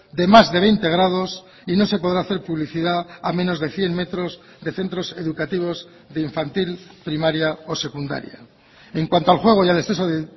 de más de veinte grados y no se podrá hacer publicidad a menos de cien metros de centros educativos de infantil primaria o secundaria en cuanto al juego y al exceso de